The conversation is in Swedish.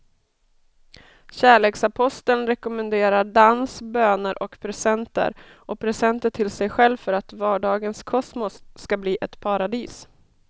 Kärleksaposteln rekommenderar dans, böner och presenter och presenter till sig själv för att vardagens kosmos ska bli ett paradis.